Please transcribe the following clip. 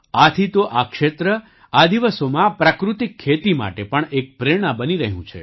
આથી તો આ ક્ષેત્ર આ દિવસોમાં પ્રાકૃતિક ખેતી માટે પણ એક પ્રેરણા બની રહ્યું છે